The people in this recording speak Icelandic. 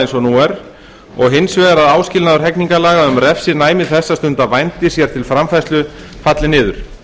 nú er og hins vegar að áskilnaður hegningarlaga um refsinæmi þess að stunda vændi sér til framfærslu falli niður